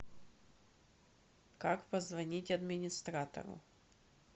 как позвонить администратору